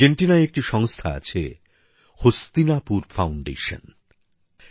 আর্জেন্টিনায় একটি সংস্থা আছে হস্তিনাপুর ফাউন্ডেশন